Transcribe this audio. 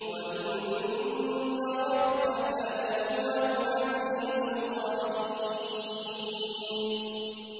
وَإِنَّ رَبَّكَ لَهُوَ الْعَزِيزُ الرَّحِيمُ